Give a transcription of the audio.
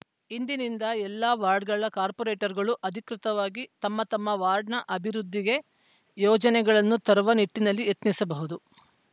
ಇಂದಿನಿಂದ ಎಲ್ಲ ವಾರ್ಡ್‌ಗಳ ಕಾರ್ಪೊರೇಟರ್‌ಗಳು ಅಧಿಕೃತವಾಗಿ ತಮ್ಮ ತಮ್ಮ ವಾರ್ಡ್‌ನ ಅಭಿವೃದ್ಧಿಗೆ ಯೋಜನೆಗಳನ್ನು ತರುವ ನಿಟ್ಟಿನಲ್ಲಿ ಯತ್ನಿಸಬಹುದು